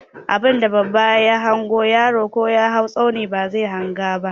Abunda babba ya hango, yaro ko ya hau tsauni bazai hanga ba.